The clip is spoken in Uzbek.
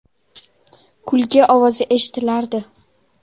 Kulgi ovozi eshitilardi.